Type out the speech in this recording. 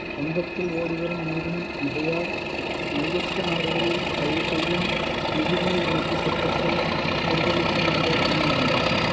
வங்கத்தில் ஓடிவரும் நீரின் மிகையால் மையத்து நாடுகளில் பயிர்செய்யும் நிதிநீர் இணைப்புத் திட்டத்தை விடுதலைக்கு முன்பே கனவுகண்டவர்